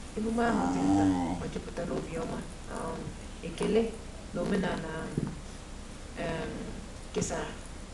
Emume ahụ di nta ma juputa na obiọma, um ekele, na omenala um e um kesara.